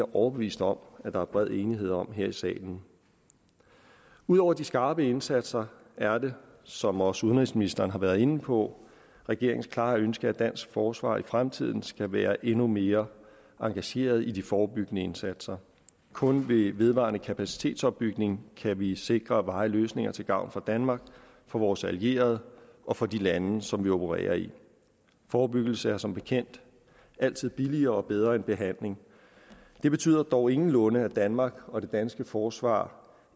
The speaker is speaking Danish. overbevist om at der bred enighed om her i salen ud over de skarpe indsatser er det som også udenrigsministeren har været inde på regeringens klare ønske at dansk forsvar i fremtiden skal være endnu mere engageret i de forebyggende indsatser kun ved vedvarende kapacitetsopbygning kan vi sikre varige løsninger til gavn for danmark for vores allierede og for de lande som vi opererer i forebyggelse er som bekendt altid billigere og bedre end behandling det betyder dog ingenlunde at danmark og det danske forsvar